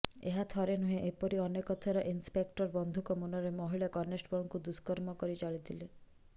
ଏହା ଥରେ ନୁହେଁ ଏପରି ଅନେକ ଥର ଇନ୍ସପେକ୍ଟର ବନ୍ଧୁକ ମୁନରେ ମହିଳା କନେଷ୍ଟବଳଙ୍କୁ ଦୁଷ୍କର୍ମ କରି ଚାଲିଥିଲେ